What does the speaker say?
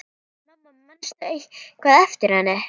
En mamma, manstu eitthvað eftir henni?